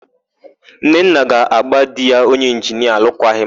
Nnenna ga-agba di ya onye ịnginia alụkwaghịm